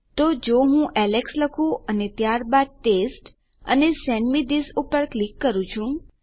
તો જો હું એલેક્સ લખું અને ત્યારબાદ ટેસ્ટ અને સેન્ડ મે થિસ પર ક્લિક કરું છું